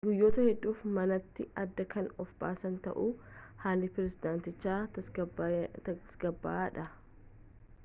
guyyoota hedduuf manatti adda kan of baasan ta'us haalli pirezidaantichaa tasgabbaa'aadha